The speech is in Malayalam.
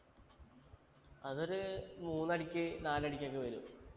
അതൊരു മൂന്നടിക്ക് നാലടിക്കൊക്കെ വരും